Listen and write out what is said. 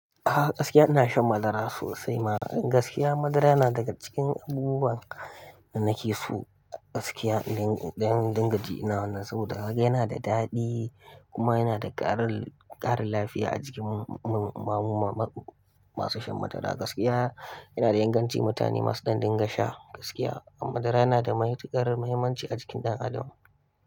Ah gaskiya ina shan madara sosai ma. Gaskiya madara yana daga cikin abubuwan da nake so gaskiya. Don dinga jin nawa na saboda kaga yana da daɗi kuma yana da ƙarin lafiya a jikin mu masu shan madara. Gaskiya yana da inganci mutane masu din gasha gaskiya amma madara yana da matukar mahimmanci a jikin ɗan adam.